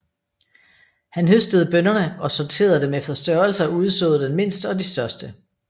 Han høstede bønnerne og sorterede dem efter størrelse og udsåede den mindste og de største